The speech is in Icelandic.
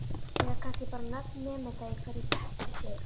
Eða kannski bara nöfn nemenda í hverjum bekk fyrir sig?